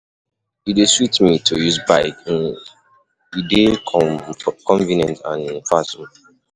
E dey sweet me to use bike, e dey convenient and fast.